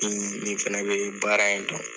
N nin fana bɛ baara in dɔn